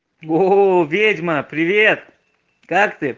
оо ведьма привет как ты